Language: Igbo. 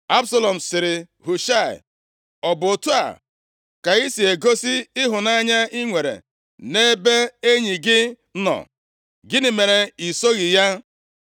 Absalọm sịrị Hushaị, “Ọ bụ otu a ka i si egosi ịhụnanya i nwere na-ebe enyi gị nọ? Gịnị mere i soghị ya?”